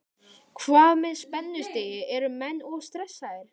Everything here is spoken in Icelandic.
Hvað með spennustigið, eru menn of stressaðir?